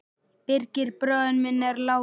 Birgir bróðir minn er látinn.